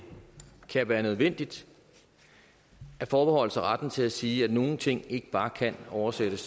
kan være nødvendigt at forbeholde sig retten til at sige at nogle ting ikke bare kan oversættes